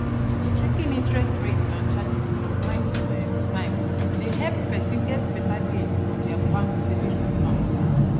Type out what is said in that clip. checking interest rates and charges from time to um time dey help person get better gain from their bank savings account